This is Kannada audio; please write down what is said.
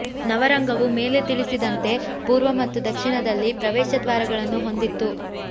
ನವರಂಗವು ಮೇಲೆ ತಿಳಿಸಿದಂತೆ ಪೂರ್ವ ಮತ್ತು ದಕ್ಷಿಣದಲ್ಲಿ ಪ್ರವೇಶ ದ್ವಾರಗಳನ್ನು ಹೊಂದಿತ್ತು